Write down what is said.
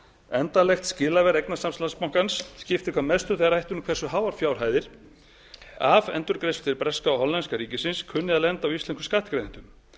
endanlegt skilaverð eignasafns landsbankans skiptir hvað mestu þegar rætt er um hversu háar fjárhæðir af endurgreiðslu til breska og hollenska ríkisins kunni að lenda á íslenskum skattgreiðendum